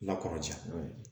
La kɔrɔcɛn